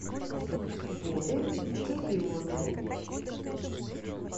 вове кириллове